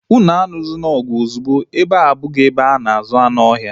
Unu aluzina ọgụ ozugbo! Ebea abụghị ebe a na-azụ anụ ohia